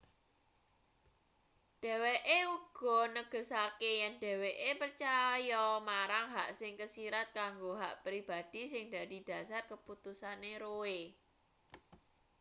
dheweke uga negesake yen dheweke percaya marang hak sing kesirat kanggo hak pribadhi sing dadi dhasar keputusane roe